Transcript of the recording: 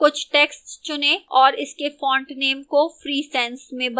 कुछ text चुनें और इसके font name को free sans में बदलें